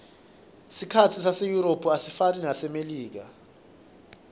sikhatsi seyurophu asifani nesasemelika